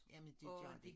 Jamen det gør de